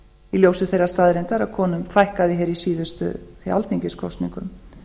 í ljósi þeirrar staðreyndar að konum fækkaði hér í síðustu alþingiskosningum